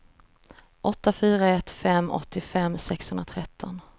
åtta fyra ett fem åttiofem sexhundratretton